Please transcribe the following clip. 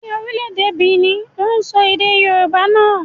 Ni orílẹ̀-èdè Benin, wọ́n sọ èdè Yorùbá nà.